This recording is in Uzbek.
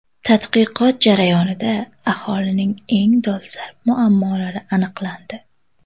Tadqiqot jarayonida aholining eng dolzarb muammolari aniqlandi.